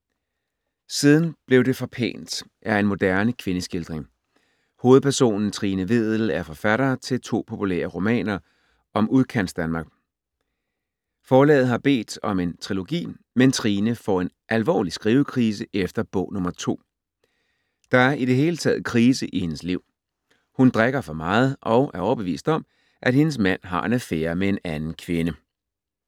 Siden blev det for pænt er en moderne kvindeskildring. Hovedpersonen Trine Vedel er forfatter til to populære romaner om udkantsdanmark. Forlaget har bedt om en trilogi, men Trine får en alvorlig skrivekrise efter bog nummer to. Der er i det hele taget krise i hendes liv. Hun drikker for meget og er overbevist om, at hendes mand har en affære med en anden kvinde.